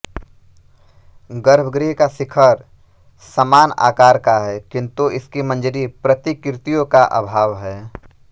गर्भगृह का शिखर समान आकार का है किंतु इसकी मंजरी प्रतिकृतियों का अभाव है